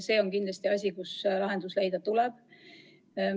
See on kindlasti probleem, millele tuleb leida lahendus.